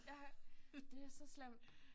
Ja det er så slemt